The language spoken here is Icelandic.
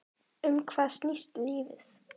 Um hvað snýst lífið?